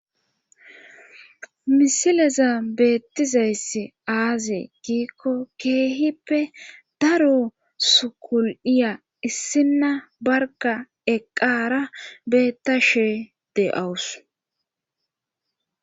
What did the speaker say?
misileza beettizayssi aaze giikko keehippe daro sukul7iya issinna barga eqqara beettashe de7awus